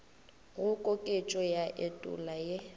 go koketšo ya etulo ye